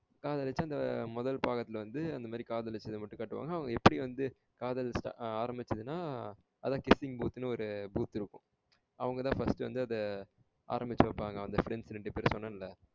காதலிச்சா அந்த முதல் பாகத்துல வந்து அந்தமாரி காதலிச்சத மட்டும் காட்டுவாங்க எப்டி வந்து காதல் ஆரமிச்சதுனா? அத kissing booth னு ஒரு booth இருக்கும். அவங்கதா first வந்து இத ஆரம்மிச்சி வைப்பாங்க அந்த friends ரெண்டு பேரு வந்து சொன்னேன்ல